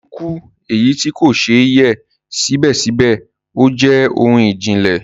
Ikú, eyi ti kò ṣè yẹ sibẹsibẹ ojè ohun ijìnlẹ